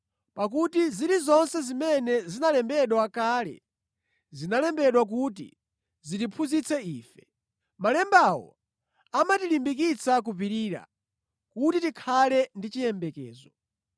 Pakuti zilizonse zimene zinalembedwa kale zinalembedwa kuti zitiphunzitse ife. Malembawo amatilimbikitsa kupirira kuti tikhale ndi chiyembekezo.